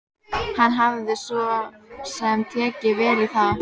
Hann hafði svo sem tekið vel í það.